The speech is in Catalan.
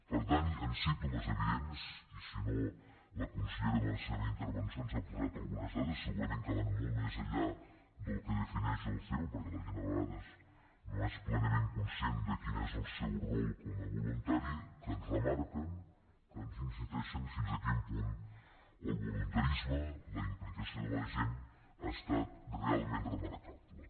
per tant hi han símptomes evidents i si no la consellera en la seva intervenció ens ha posat algunes dades segurament van molt més enllà del que defineix el ceo perquè la gent a vegades no és plenament conscient de quin és el seu rol com a voluntari que ens remarquen que ens insisteixen fins a quin punt el voluntarisme la implicació de la gent ha estat realment remarcable